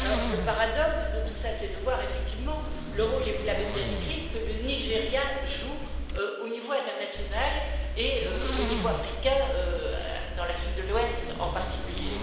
Le paradoxe de tout cela, c'est de voir effectivement le rôle et vous l'avez bien décrit que le Nigeria joue au niveau international et au niveau africain, en Afrique de l'Ouest en particulier.